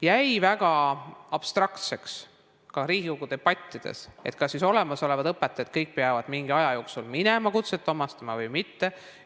Jäi väga abstraktseks ka Riigikogu debattides, kas siis kõik olemasolevad õpetajad peavad mingi aja jooksul minema kutset omandama või mitte.